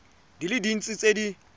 di le dintsi tse di